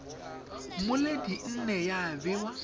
mmoledi e ne ya bewa